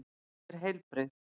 Ég er heilbrigð.